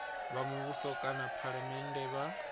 wa muvhuso kana phalamennde vha